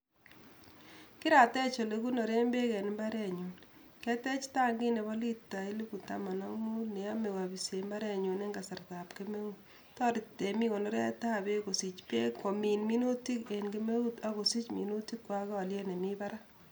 Kiratech ole kikonoren peek en imbarenyu, kiatech tankit nebo lita elfu taman ak muut neyame apisen imbarenyu en kasartab kemeut, toroti temiik konoretab beek, kosich beek komin minutik en kemeut ak kosich minutikwai aliet nemi barak.